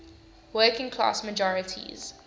working class majorities